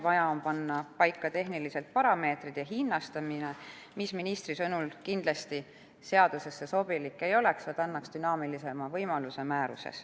Vaja on panna paika tehnilised parameetrid ja hinnastamine, mis ministri sõnul kindlasti seadusesse sobilik ei oleks, vaid võiks olla määruses, kus ta annaks dünaamilisema võimalus.